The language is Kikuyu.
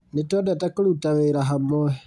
Nĩtwendete kũruta wĩra hamwe